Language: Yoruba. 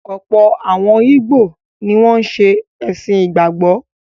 Ọ̀pọ̀ àwọn ìgbò ni wọ́n ṣe “ẹ̀sìn ìgbàgbọ́”.